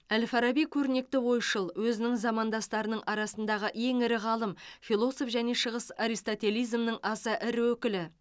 әл фараби көрнекті ойшыл өзінің замандастарының арасындағы ең ірі ғалым философ және шығыс аристотелизмінің аса ірі өкілі